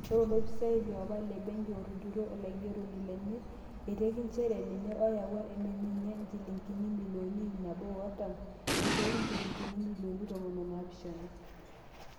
Ore olofisai liopa le benki otujuto olaigeroni lenye eiteki njere ninye oyaua meminia injilingini imilioni iip nabo o artam eishooki injilingini imilioni tomon oopishana.